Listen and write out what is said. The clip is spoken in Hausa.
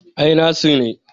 Ai Nasir ne